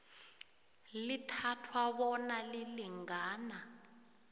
lithathwa bona lilingana